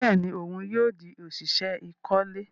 Bẹẹni òun yóò di oṣiṣẹ ikole